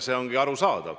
See ongi arusaadav.